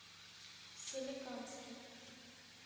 соликамске